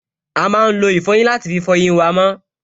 A máa lo ìfọyín láti fí fọ eyín wa mọ́